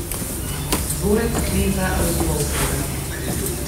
Dvorec kneza Razumovskega.